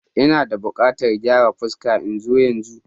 Ina buƙatan gyaran fuska. In zo yanzu?